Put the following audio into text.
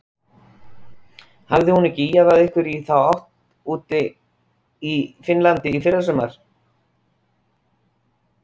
Hafði hún ekki ýjað að einhverju í þá áttina útí Finnlandi í fyrrasumar?